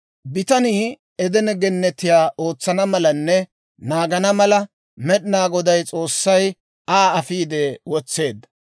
Bitanii Edene Gennetiyaa ootsana malanne naagana mala, Med'inaa Goday S'oossay Aa afiide wotseedda.